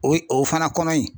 O ye o fana kɔnɔ yi.